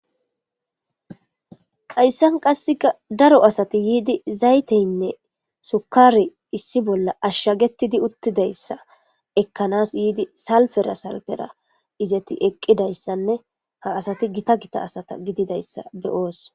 Hayssan qasseka daro asati yiidi zayteynne sukari issi bolla ashshagetidi uttidayssa ekkanas yiidi salfera salfera izeti eqqidayssanne ha asati gita gita asata gididayssa beyoos.